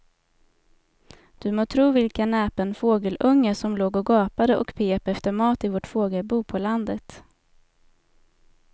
Du må tro vilken näpen fågelunge som låg och gapade och pep efter mat i vårt fågelbo på landet.